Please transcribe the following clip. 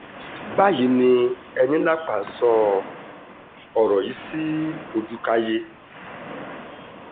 báyìí ni enílápà sọ ọ̀rọ̀ yìí sí ojútáyé